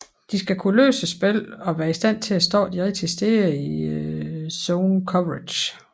De skal kunne læse spillet og være i stand til at stå de rigtige steder i zone coverage